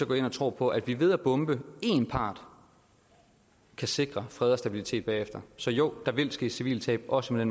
går ind og tror på at vi ved at bombe én part kan sikre fred og stabilitet bagefter så jo der vil ske civile tab også med